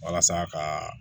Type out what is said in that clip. Walasa ka